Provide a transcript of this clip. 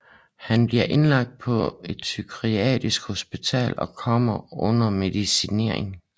Han bliver indlagt på et psykiatrisk hospital og kommer under medicinering